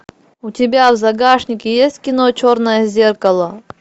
у тебя в загашнике есть кино черное зеркало